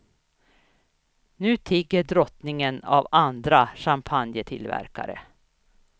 Nu tigger drottningen av andra champagnetillverkare.